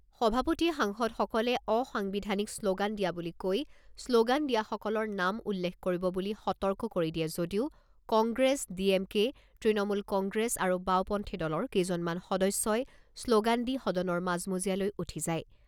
সভাপতিয়ে সাংসদসকলে অসাংবিধানিক শ্ল'গান দিয়া বুলি কৈ শ্ল'গান দিয়াসকলৰ নাম উল্লেখ কৰিব বুলি সতৰ্ক কৰি দিয়ে যদিও কংগ্ৰেছ, ডিএমকে, তৃণমূল কংগ্ৰেছ আৰু বাওপন্থী দলৰ কেইজনমান সদস্যই শ্ল'গান দি সদনৰ মাজমজিয়ালৈ উঠি যায়।